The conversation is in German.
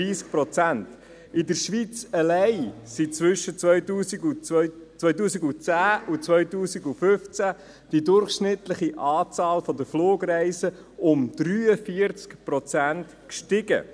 In der Schweiz allein stieg zwischen 2010 und 2015 die durchschnittliche Anzahl der Flugreisen um 43 Prozent.